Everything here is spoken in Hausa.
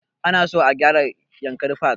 Ana so a gyara yankari park